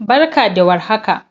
Barka da warhaka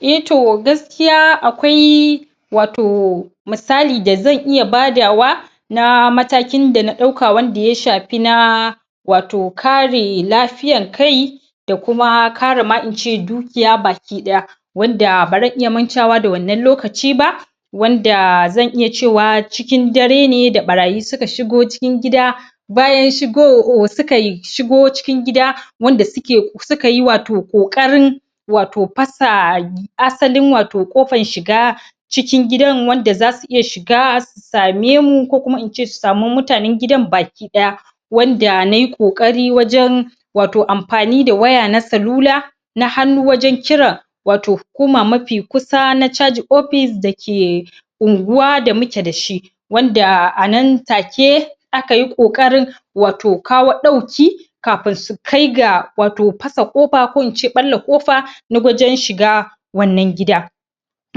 eh to gaskiya akwai wato misali da zan ia badawa na matakin da na ɗauka wanda ya shafi na wato kare lafiyar kai da kuma kare ma ince dukiya bakiɗaya wanda ba ran iya mantawa da wannan lokaci ba wanda zan iya cewa cikin dare ne da ɓarayi suka shigo cikin gida bayan shigo sukai shigo cikin gida wanda suke sukayi wato ƙoƙarin wato fasa asalin wato ƙofan shiga cikin gidan wanda zasu iya shiga su samemu ko kuma in ce susamu mutanen gida bakiɗaya wanda nayi ƙoƙari wajen wato amfani da waya na salula na hannu wajen kiran wato hukuma mafi kusa na caji ofis da ke unguwa da muke dashi wanda anan take akayi ƙoƙarin wato kawo ɗauki kafin su kai ga fasa ƙofa ko in ce ɓalla ƙofa na wajen shiga wannan gida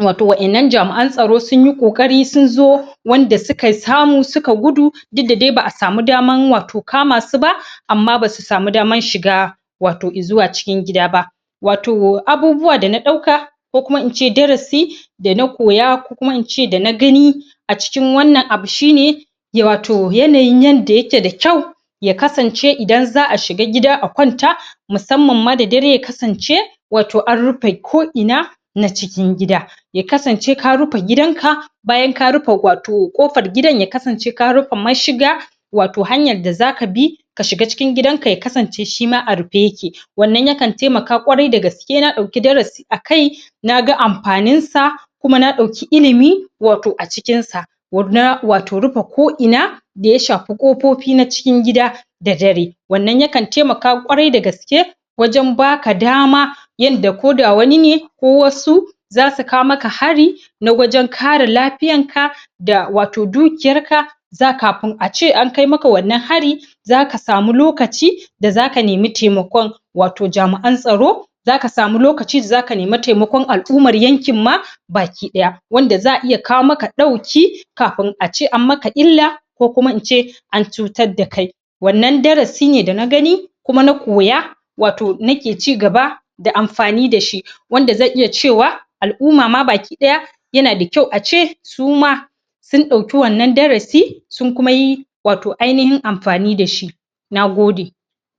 wato wa'innan jami'an tsaro sunyi ƙoƙari sun zo wanda suka samu suka gudu duk da dai ba a samu damn wato kamasu ba amma ba su samu daman shiga wato izuwa cikin gida ba wato abubuwa da na ɗauka ko kuma in ce darasi da na koya ko kuma in ce da na gani acikin wanna abu shine wato yanayin yanda yake da kyau ya kasance idan za a shiga gida a kwanta musamman ma da dare ya kasance wato an rufe ko'ina na cikin gida ya kasance ka rufe gidanka bayan ka rufe wato ƙofar gidan ya kasnace ka rufe mashiga wato hanyan da zaka bi ka shiga cikin gidanka ya kasance shima a rufe yake wannan yakan taimaka ƙwarai da gaske na dauki darasi akai na ga amfaninsa kuma na ɗauki ilimi wato a cikinsa na wato rufe ko'ina da ya shafi ƙofofi na cikin gida da dare wannan yakan taimaka ƙwarai da gaske wajen baka dama yanda ko da wani ne ko wasu za su kawo makka hari na wajen kare lafiyanka da wato dukiyarka za kafin a ce an kai maka wannan hari za ka samu lokaci da za ka nemi taimakon wtao jami'an taro za ka samu lokaci da za ka nimi taimakon al'uman yankin ma bakiɗaya wanda za a iya kawo maka ɗauki kafin a ce an maka illa ko kuma in ce an cutar da kai wannan darasi ne da na gani kuma na koya wato nake cigaba da amfani da shi wanda zan iya cewa al'umma ma bakiɓaya yana da kyau a ce su ma sun ɗauki wannan darasi sunkuma yi wato ainihin amfani da shi na gode.